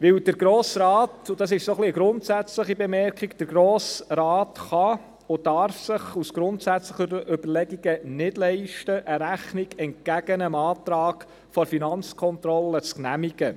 Denn der Grosse Rat – und das ist ein wenig eine grundsätzliche Bemerkung – kann und darf es sich aus grundsätzlichen Überlegungen nicht leisten, eine Rechnung entgegen dem Antrag der FK zu genehmigen.